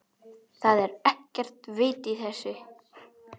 ÞAÐ ER EKKERT VIT Í ÞESSU.